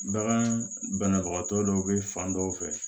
Bagan banabagatɔ dɔw bɛ fan dɔw fɛ